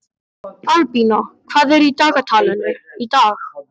Albína, hvað er í dagatalinu í dag?